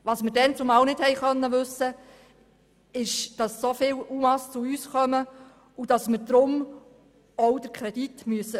Wir konnten damals nicht wissen, dass so viele UMA zu uns kommen und wir deshalb auch den Kredit erhöhen müssen.